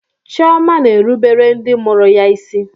Chioma na-erubere ndị mụrụ ya isi.